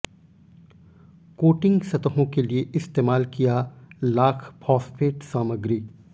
coating सतहों के लिए इस्तेमाल किया लाख फॉस्फेट सामग्री